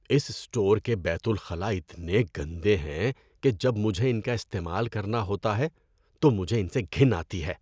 اس store کے بیت الخلا اتنے گندے ہیں کہ جب مجھے ان کا استعمال کرنا ہوتا ہے تو مجھے ان سے گھن آتی ہے۔